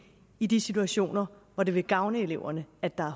i de situationer hvor det vil gavne eleverne at der